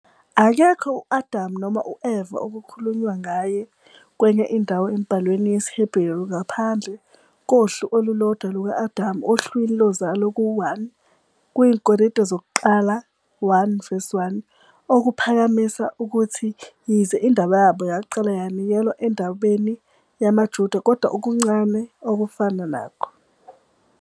Akekho u-Adam noma u-Eva okukhulunywa ngaye kwenye indawo emibhalweni yesiHeberu ngaphandle kohlu olulodwa luka-Adam ohlwini lozalo ku- 1 IziKronike 1- 1, okuphakamisa ukuthi yize indaba yabo yaqala yanikelwa endabeni yamaJuda, kodwa okuncane okufana nakho.